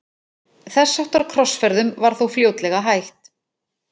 Þess háttar krossferðum var þó fljótlega hætt.